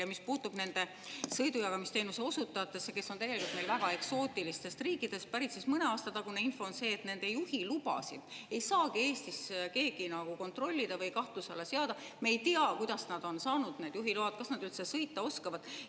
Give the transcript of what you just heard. Ja mis puutub nendesse sõidujagamisteenuse osutajatesse, kes on meil täielikult väga eksootilistest riikidest pärit, siis mõne aasta taguse info järgi ei saagi nende juhilubasid Eestis keegi kontrollida või kahtluse alla seada, me ei tea, kuidas nad on saanud need juhiload, kas nad üldse sõita oskavad.